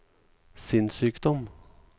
sinnssykdom